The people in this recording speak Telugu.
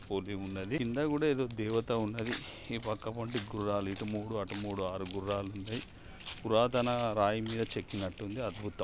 పూర్వి ఉన్నదీ కింద కూడా ఏదో దేవత ఉన్నదీ ఈ పక్కపంటే గుర్రాలు ఇటు మూడు అటు మూడు ఆరు గుర్రాలున్నాయి పురాతన రాయి మీద చెక్కినట్టుంది అద్భుతం.